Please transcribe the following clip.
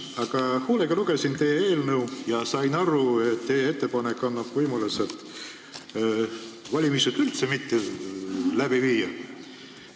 Aga ma lugesin teie eelnõu hoolega ja sain aru, et teie ettepanek annab võimaluse valimisi üldse mitte läbi viia.